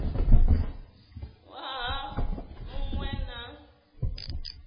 waha mu ṅ we na